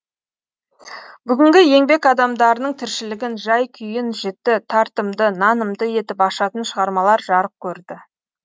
бүгінгі еңбек адамдарының тіршілігін жай күйін жіті тартымды нанымды етіп ашатын шығармалар жарық көрді